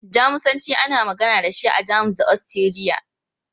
Jamusanci, ana magana da shi a Jamus da Ostiriya.